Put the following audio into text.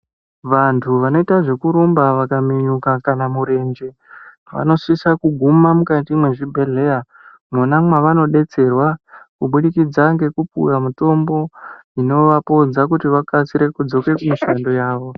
Vantu vanoita zvekurumba kana vakaminyuka kana murenje vamosisa kuguma mukati mwezvibhehleya mwona mwavanodetserwa kubudikidza nekupuwa mitombo inovadetsera kuti vakasikidze kudzoka kumishando yavo.